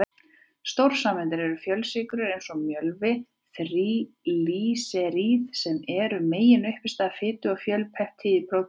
Stórsameindirnar eru fjölsykrur eins og mjölvi, þríglýseríð sem eru meginuppistaða fitu, og fjölpeptíð í prótínum.